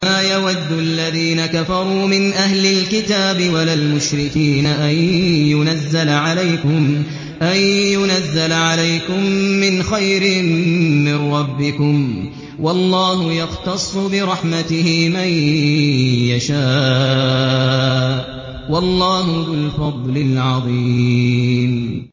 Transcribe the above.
مَّا يَوَدُّ الَّذِينَ كَفَرُوا مِنْ أَهْلِ الْكِتَابِ وَلَا الْمُشْرِكِينَ أَن يُنَزَّلَ عَلَيْكُم مِّنْ خَيْرٍ مِّن رَّبِّكُمْ ۗ وَاللَّهُ يَخْتَصُّ بِرَحْمَتِهِ مَن يَشَاءُ ۚ وَاللَّهُ ذُو الْفَضْلِ الْعَظِيمِ